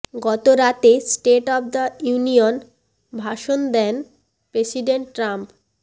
গতরাতে state of the union ভাষণ দেন প্রেসিডেন্ট ট্রাম্প